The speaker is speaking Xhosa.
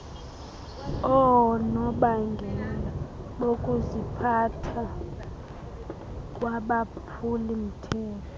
oonobangela bokuziphatha kwabaphulimthetho